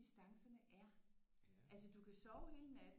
Distancerne er altså du kan sove hele natten